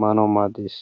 maanawu maades